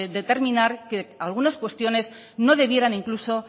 determinar que algunas cuestiones no debieran incluso